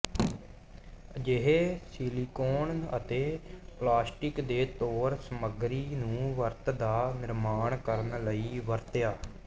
ਅਜਿਹੇ ਸੀਲੀਕੌਨ ਅਤੇ ਪਲਾਸਟਿਕ ਦੇ ਤੌਰ ਸਮੱਗਰੀ ਨੂੰ ਵਰਤ ਦਾ ਨਿਰਮਾਣ ਕਰਨ ਲਈ ਵਰਤਿਆ